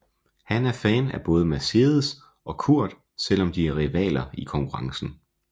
Han er fan af både Mercedes og Kurt selvom de er rivaler i konkurrencen